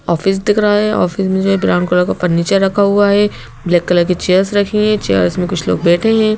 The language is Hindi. ऑफिस दिख रहा है ऑफिस में जो है ब्राउन कलर का फर्नीचर रखा हुआ है ब्लैक कलर की चेयर्स रखी हैं चेयर्स में कुछ लोग बैठे हैं।